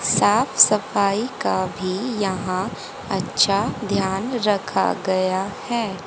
साफ सफाई का भी यहाँ अच्छा ध्यान रखा गया है।